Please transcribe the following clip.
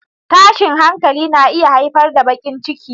Tashin hankali na iya haifar da baƙin ciki.